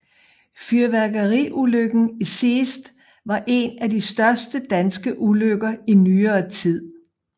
Fyrværkeriulykken i Seest var en af de største danske ulykker i nyere tid